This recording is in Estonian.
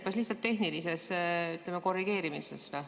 Kas lihtsalt tehnilises korrigeerimises?